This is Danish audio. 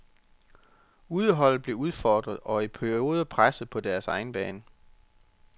Udeholdet blev udfordret og i perioder presset på deres egen bane.